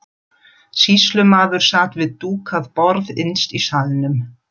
Sýslumaður sat við dúkað borð innst í salnum.